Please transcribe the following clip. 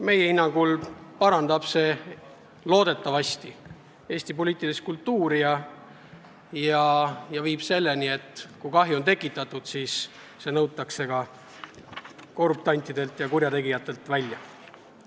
Meie hinnangul parandab see loodetavasti Eesti poliitilist kultuuri ja viib selleni, et kui kahju on tekitatud, siis see nõutakse korruptantidelt ja kurjategijatelt välja.